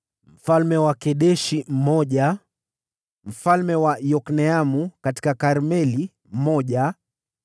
mfalme wa Kedeshi mmoja mfalme wa Yokneamu katika Karmeli mmoja